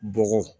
Bɔgɔ